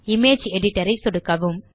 image editor ஐ சொடுக்கவும்